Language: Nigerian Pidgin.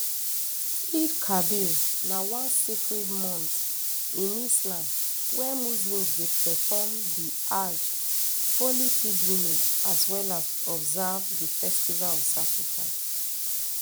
eidelkabir na one sacred month in islam wey muslims dey perform di ajj holy pilgrimage as well as observe di festival of sacrifice